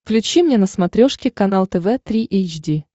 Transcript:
включи мне на смотрешке канал тв три эйч ди